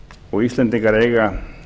og íslendingar eiga